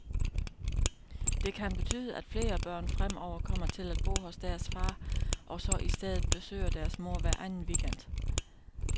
Det kan betyde, at flere børn fremover kommer til at bo hos deres far, og så i stedet besøger deres mor hver anden weekend.